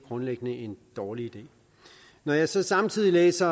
grundlæggende en dårlig idé når jeg så samtidig læser